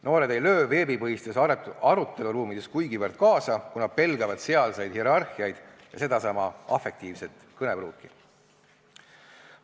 Noored ei löö veebipõhistes aruteluruumides kuigivõrd kaasa, kuna pelgavad sealseid hierarhiaid ja sedasama afektiivset kõnepruuki.